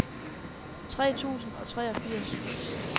tres tusind og treogfirs